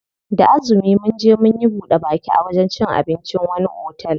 Da azumi munje munyi buɗe baki a wajen cin abincin wani otel.